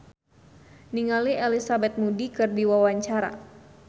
Arie Daginks olohok ningali Elizabeth Moody keur diwawancara